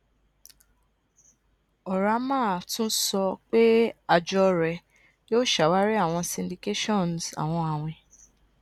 oramah tun sọ pe àjọ rẹ yoo ṣawari awọn syndications awọn awin